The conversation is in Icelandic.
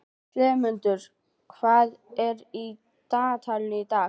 slefmundur, hvað er í dagatalinu í dag?